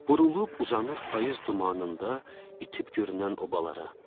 Burulub uzanır payız dumanında itib görünən obalara.